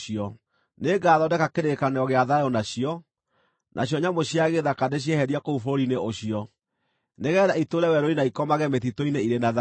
“ ‘Nĩngathondeka kĩrĩkanĩro gĩa thayũ nacio, nacio nyamũ cia gĩthaka ndĩcieherie kũu bũrũri-inĩ ũcio, nĩgeetha itũũre werũ-inĩ na ikomage mĩtitũ-inĩ irĩ na thayũ.